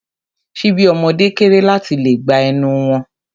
Ṣíbí ọmọde kéré láti lè gba ẹnu wọn.